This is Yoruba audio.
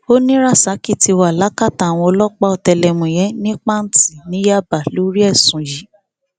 ó ní rasaki ti wà lákàtà àwọn ọlọpàá ọtẹlẹmúyẹ ní panti ní yaba lórí ẹsùn yìí